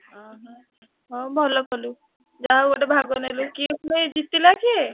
ଓହୋ ହଉ ଭଲ କଲୁ ଯାହା ହଉ ଗୋଟେ ଭାଗ ନେଲୁ କିଏ ପୁଣି ଜିତିଲା କିଏ?